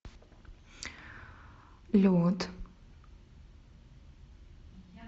лед